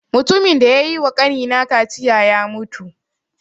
Matumin da ya yi wa ƙani na kaciya ya mutu